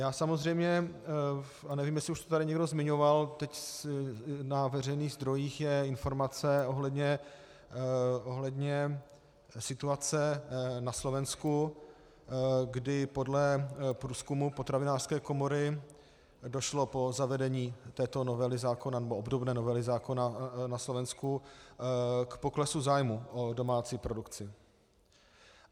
Já samozřejmě, a nevím, jestli už to tady někdo zmiňoval, teď na veřejných zdrojích je informace ohledně situace na Slovensku, kdy podle průzkumu potravinářské komory došlo po zavedení této novely zákona nebo obdobné novely zákona na Slovensku k poklesu zájmu o domácí produkci.